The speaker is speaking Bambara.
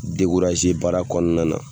baara kɔnɔna na,